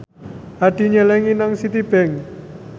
Hadi nyelengi nang Citibank